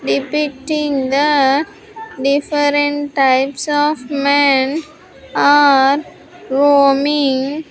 Depicting the different types of men are roaming.